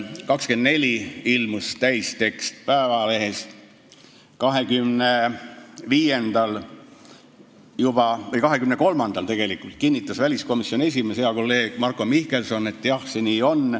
24-ndal ilmus täistekst Päevalehes, 23-ndal kinnitas väliskomisjoni esimees, hea kolleeg Marko Mihkelson, et jah, nii see on.